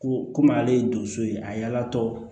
Ko kɔmi ale ye donso ye a la tɔ